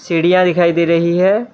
सीढ़ियां दिखाई दे रही है।